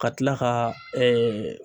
Ka tila ka